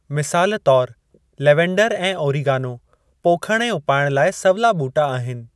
मिसाल तौर लेवेंडर ऐं ओरीगानो पोखणु ऐं उपाइणु लाइ सवला ॿूटा आहिनि।